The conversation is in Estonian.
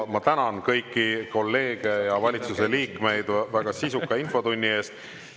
Ma tänan kõiki kolleege ja valitsuse liikmeid väga sisuka infotunni eest.